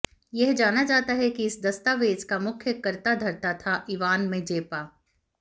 यह माना जाता है कि इस दस्तावेज़ का मुख्य कर्ताधर्ता था इवान मेज़ेपा